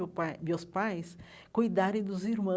meu pai meus pais cuidarem dos